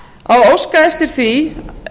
að óska eftir því